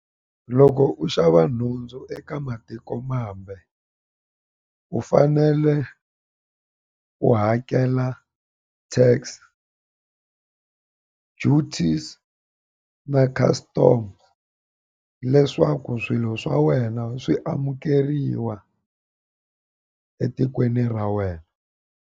Loko u xava nhundzu eka matikomambe u fanele u hakela TAX, duties na custom leswaku swilo swa wena swi amukeriwa etikweni ra wena.